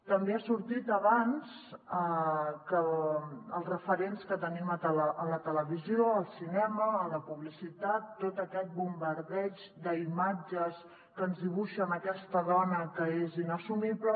també ha sortit abans que els referents que tenim a la televisió al cinema a la publicitat tot aquest bombardeig d’imatges que ens dibuixen aquesta dona que és inassumible